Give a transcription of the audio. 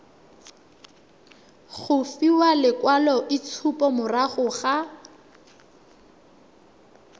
go fiwa lekwaloitshupo morago ga